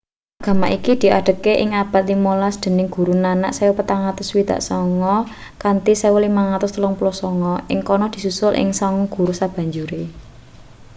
agama iki diadegaké ing abad ka-15 dening guru nanak 1469-1539. ing kana disusul ing sanga guru sabanjure